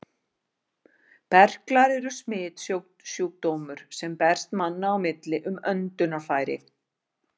Berklar eru smitsjúkdómur, sem berst manna á milli um öndunarfæri.